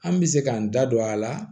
An bɛ se k'an da don a la